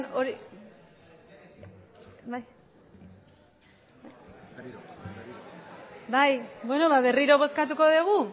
berriro bozkatu dugu